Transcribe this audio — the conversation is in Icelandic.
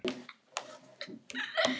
Erla: Hvað heitir þessi hundur?